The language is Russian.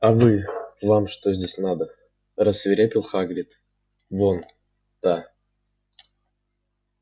а вы вам что здесь надо рассвирепел хагрид вон да